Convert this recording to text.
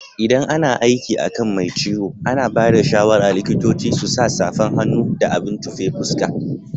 ldan ana aiki akan Mai ciwo, ana bada shawara likitoci su sa safan hannu da abin tufe fuska.